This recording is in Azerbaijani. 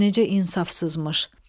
Gör necə insafsızmış.